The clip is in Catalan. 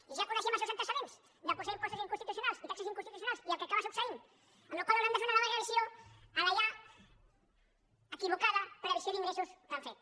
i ja coneixem els seus antecedents de posar impostos inconstitucionals i taxes inconstitucionals i el que acaba succeint amb la qual cosa hauran de fer una nova revisió a la ja equivocada previsió d’ingressos que han fet